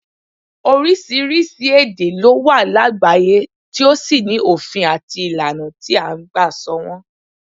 Oríṣiríṣi èdè ló wà lágbàáyé tí ó sì ní òfin àti ìlànà tí à ń gbà sọ wọn